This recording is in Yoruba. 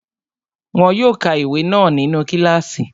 Wọn yóò ka ìwé náà nínu kílààsì